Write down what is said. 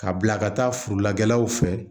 Ka bila ka taa furula kɛlaw fɛ